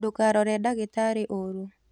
Ndũkarore dagĩtarĩũru.